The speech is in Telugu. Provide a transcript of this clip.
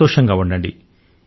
సంతోషం గా ఉండండి